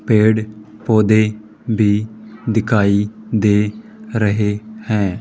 पेड़ पौधे भी दिखाई दे रहे हैं।